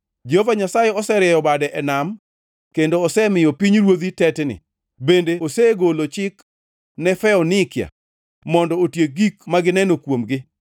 Jehova Nyasaye oserieyo bade e nam kendo osemiyo pinyruodhi tetni, bende osegolo chik ne Foenikia mondo otiek gik ma gineno kuomgi.